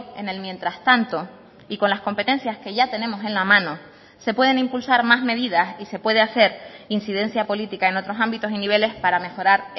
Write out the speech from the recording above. en el mientras tanto y con las competencias que ya tenemos en la mano se pueden impulsar más medidas y se puede hacer incidencia política en otros ámbitos y niveles para mejorar